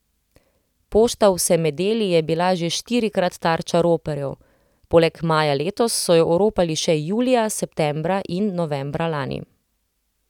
Pošta v Semedeli je bila že štirikrat tarča roparjev, poleg maja letos so jo oropali še julija, septembra in novembra lani.